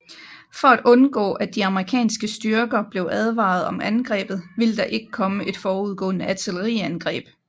For at undgå at de amerikanske styrker blev advaret om angrebet ville der ikke komme et forudgående artilleriangreb